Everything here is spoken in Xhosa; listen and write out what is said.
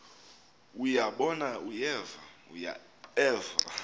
uya bona uyeva